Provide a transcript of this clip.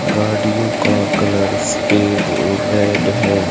गाड़ियों का कलर सफेद और रेड है।